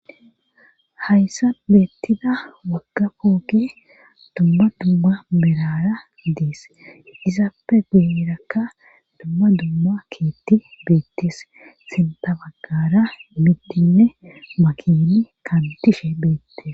Hayssa beettida wagga fooke dumma dumma berara dees isappe gurakka dumma dumma keetti beettis sindabagara mittinne makini kantishe beettes.